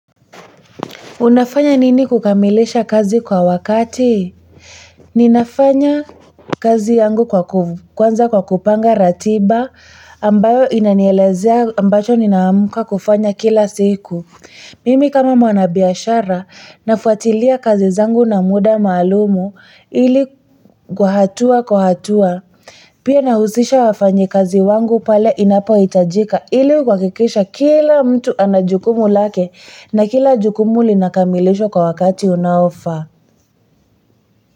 Unafanya nini kukamilisha kazi kwa wakati? Ninafanya kazi yangu kwanza kwa kupanga ratiba ambayo inanielezea ambacho ninaamka kufanya kila siku. Mimi kama mwanabiashara, nafwatilia kazi zangu na muda maalumu ili kwa hatua kwa hatua. Pia nahusisha wafanyi kazi wangu pale inapo itajika, ili kuhakikisha kila mtu anajukumu lake na kila jukumu linakamilishwa kwa wakati unaofaa.